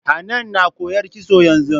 Hanan na koyar kitso yanzu.